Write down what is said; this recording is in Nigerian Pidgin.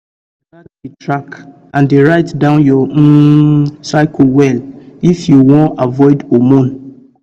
true true you gats dey track and dey write down your um cycle well if you wan avoid hormones